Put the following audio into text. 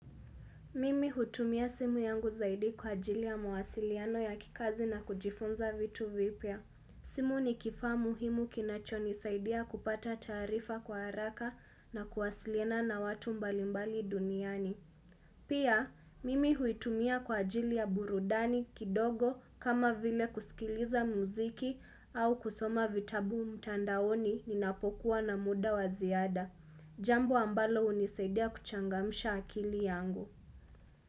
Mimi hutumia simu yangu zaidi kwa ajili ya mawasiliano ya kikazi na kujifunza vitu vipya. Simu ni kifaa muhimu kinachoni saidia kupata taarifa kwa haraka na kuwasiliana na watu mbalimbali duniani. Pia, mimi huitumia kwa ajili ya burudani kidogo kama vile kusikiliza muziki au kusoma vitabu mtandaoni ninapokuwa na muda waziada. Jambo ambalo unisaidia kuchangamsha akili yangu.